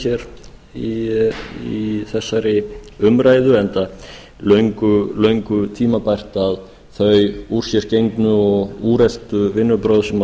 hér í þessari umræðu enda löngu tímabært að þau úr sér gengnu og úreltu vinnubrögð sem